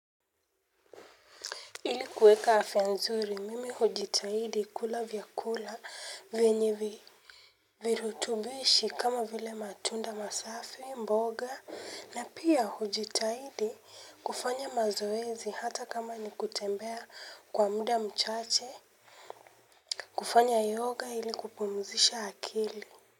Ili kuweka hafya nzuri mimi hujitahidi kula vyakula venye virutubishi kama vile matunda masafi mboga na pia hujitahidi kufanya mazoezi hata kama nikutembea kwa muda mchache. Kufanya yoga ilikupumzisha akili.